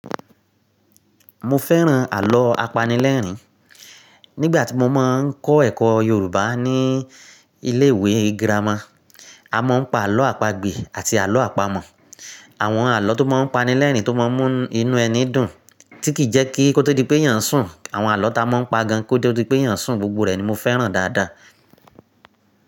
Mo fẹ́ràn àlọ́ apanilẹ́rìn. Nígbà tí mo máa ń kọ́ ẹ̀kọ́ Yorùbá ní ilé ìwé girama, a máa ń pa àlọ́ àpagbè àti àlọ́ àpamọ̀. Àwọn àlọ́ tó máa ń pani lẹ́rìnní tó máa ń mú nu-inú ẹni dùn tí kìi jẹ́ kí koto di pé eyàn sùn. Àwọn àlọ́ ta máa ń pagan kotó di pé eyàn sùn, gbogbo rẹ̀ ni mo fẹ́ràn dáadáa.